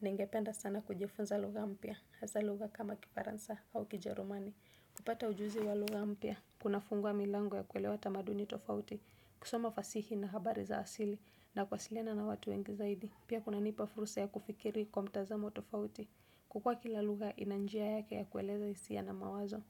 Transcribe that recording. Ningependa sana kujifunza lugha mpya, hasa lugha kama kifaransa au kijerumani. Kupata ujuzi wa lugha mpya, kunafungua milango ya kuelewa tamaduni tofauti, kusoma fasihi na habari za asili, na kwasiliana na watu wengi zaidi. Pia kunanipa furusa ya kufikiri kwa mtazamo tofauti, kwa kuwa kila lugha ina njia yake ya kueleza hisia na mawazo.